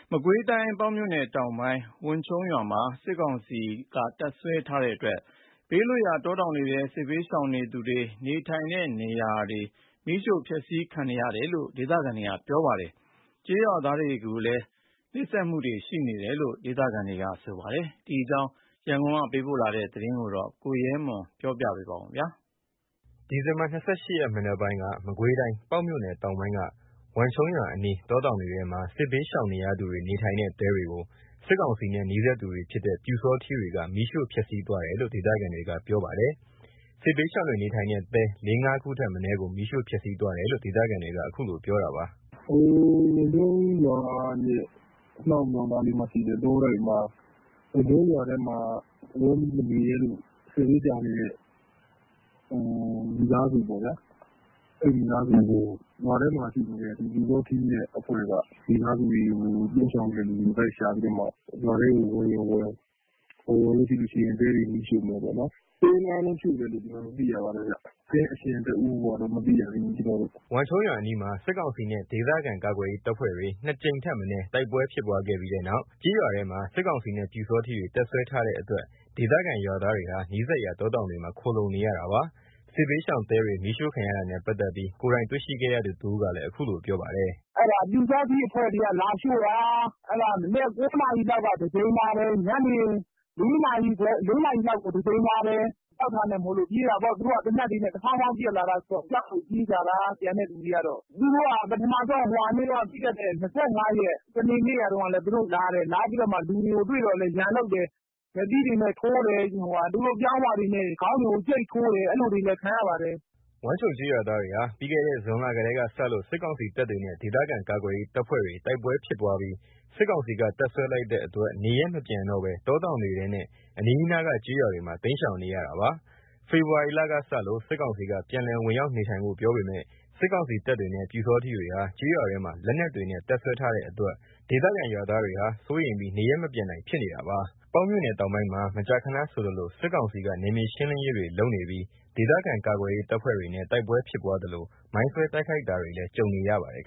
မကွေးတိုင်း ပေါက်မြို့နယ် တောင်ပိုင်း ဝန်ခြုံးရွာမှာ စစ်ကောင်စီက တပ်စွဲထားတဲ့အတွက် ဘေးလွတ်ရာ တောတောင်တွေထဲ စစ်ဘေးရှောင်နေသူတွေ နေထိုင်တဲ့နေရာတွေ မီးရှို့ဖျက်ဆီးခံရတယ်လို့ ဒေသခံတွေက ပြောပါတယ်။ ကျေးရွာသားတွေကိုလည်း နှိပ်စက်တာတွေရှိတယ်လို့လည်း ဒေသခံတွေက ပြောပါတယ်။ ဒီအကြောင်း ရန်ကုန်ကလာတဲ့သတင်းကို ကိုရဲမွန်က ပြောပြပါမယ်။ ဒီဇင်ဘာ ၂၈ ရက်မနက်ပိုင်းက မကွေးတိုင်း ပေါက်မြို့နယ် တောင်ပိုင်းက ဝန်းခြုံရွာ အနီး တောတောင်တွေထဲမှာ စစ်ဘေးရှောင်နေရသူတွေ နေထိုင်တဲ့ တဲတွေကို စစ်ကောင်စီနဲ့ နီးစပ်သူတွေဖြစ်တဲ့ ပျူစောထီးတွေက မီးရှို့ဖျက်ဆီးသွားတယ်လို့ ဒေသခံတွေကပြောပါတယ်။ စစ်ဘေးရှောင်တွေနေထိုင်တဲ့ တဲ ၄/၅ ခုထက်မနည်းကို မီးရှို့ဖျက်ဆီးသွားတယ်လို့ ဒေသခံတွေက အခုလိုပြောတာပါ။ “ဝန်ခြုံးရွာရဲ့ အနောက်နားလေးမှာရှိတဲ့ တောတိုက်မှာ ဝန်ခြုံးရွာထဲမှာ ဝင်ပြီးမနေရဲလို့ စစ်ဘေးရှောင်နေတဲ့ မိသားစုပေါ့ဗျာ။ အဲ့မိသားစုတွေကို ရွာထဲမှာရှိတဲ့ ပျူစောထီးနဲ့ အဖွဲ့က မိသားစုတွေကို လိုက်ရှာပြီးတော့မှ ရွာထဲကို ဝင်ရင်ဝင် မဝင်ရင် တဲတွေကိုမီးရှို့မယ်ပေါ့ဗျာ။ တဲ ၅ လုံးမီးရှို့တယ်လို့တော့ ကျွန်တော်တို့ သိရတယ်။ တဲရှင်တဦးကိုက မသိရသေးဘူး။” ဝန်းခြုံးရွာအနီးမှာ စစ်ကောင်စီနဲ့ ဒေသခံကာကွယ်ရေး တပ်ဖွဲ့တွေ ၂ ကြိမ်ထက်မနည်း တိုက်ပွဲဖြစ်ပွားပြီးတဲ့နောက် ကျေးရွာထဲမှာ စစ်ကောင်စီနဲ့ ပျူစောထီးတွေ တပ်စွဲထားတဲ့ အတွက် ဒေသခံ ရွာသားတွေဟာ နီးစပ်ရာတောတောင်တွေမှာ ခိုလှုံနေရတာပါ။ စစ်ဘေးရှောင်တဲတွေ မီးရှို့ခံရတာနဲ့ ပတ်သက်ပြီး ကိုယ်တိုင်တွေ့ရှိတဲ့သူတဦးကလည်း အခုလိုပြောပါတယ်။ “အဲ့ဒါပျူစောထီးအဖွဲ့တွေက လာရှို့တာ။ မနက် ၉ နာရီလောက်မှာ တကြိမ်လာတယ်။ ညနေ ၄ နာရီလောက်ကို တကြိမ်လာတယ်။ ကြောက်တာမို့လို့ပြေးရတယ်။ သူတို့က သေနတ်တွေ တဖောင်းဖောင်းနဲ့ ပစ်ပြီးတော့ ဝင်လာတော့ ကျန်တဲ့သူတွေက ကြောက်လို့ပြေးကြတာ။ သူတို့က ပထမဆုံး ပြီးခဲ့တဲ့ ၂၅ ရက် စနေနေ့တုန်းကလည်း လာတယ်။ လာပြီးတော့မှ လူတွေကိုတွေ့တော့လည်း ရန်လုပ်တယ်။ လက်သီးတွေနဲ့ ထိုးတယ်။ သူတို့ပြောင်းဝတွေနဲ့ ခေါင်းဝတွေကို ကြိတ်ထိုးတယ်။ အဲ့လိုတွေလည်း ခံရပါတယ်။” ဝန်းခြုံးကျေးရွာသားတွေဟာ ပြီးခဲ့တဲ့ ဇွန်လကတည်းကစလို့ စစ်ကောင်စီတပ်တွေနဲ့ ဒေသခံကာကွယ်ရေး တပ်ဖွဲ့တွေတိုက်ပွဲတွေဖြစ်ပွားပြီး စစ်ကောင်စီက တပ်စွဲလိုက်တဲ့ အတွက နေရပ်မပြန်တော့ဘဲ တောတောင်တွေထဲနဲ့ အနီးနားက ကျေးရွာတွေမှာ တိမ်းရှောင်နေရတာပါ။ ဖေဖော်ဝါရီလကစလို့ စစ်ကောင်စီက ပြန်လည်ဝင်ရောက်နေထိုင်ဖို့ ပြောပေမယ့် စစ်ကောင်စီတပ်တွေနဲ့ ပျူစောထီးတွေဟာ ကျေးရွာထဲမှာ လက်နက်တွေနဲ့ တပ်စွဲထားတဲ့အတွက် ဒေသခံရွာသားတွေဟာ စိုးရိမ်ပြီး နေရပ်မပြန်နိုင်ဖြစ်နေတာပါ။ ပေါက်မြို့နယ်တောင်ပိုင်းမှာ မကြာခဏဆိုသလို နယ်မြေရှင်းလင်းရေးတွေလုပ်ပြီး ဒေသခံကာကွယ်ရေး တပ်ဖွဲ့တွေနဲ့ တိုက်ပွဲဖြစ်ပွားသလို မိုင်ဆွဲတိုက်ခိုက်တာတွေလည်း ကြုံရပါတယ်